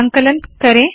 संकलन करे